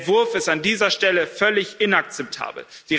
Der Entwurf ist an dieser Stelle völlig inakzeptabel.